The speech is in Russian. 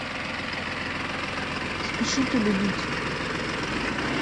спешите любить